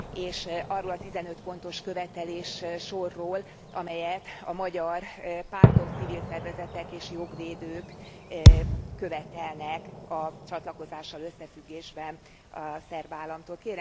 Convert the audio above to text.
és arról a 15 pontos követeléssorról, amelyet a magyar pártok, civil szervezetek és jogvédők követelnek a csatlakozással összefüggésben a szerb államtól.